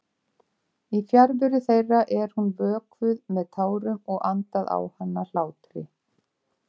Í fjarveru þeirra er hún vökvuð með tárum og andað á hana hlátri.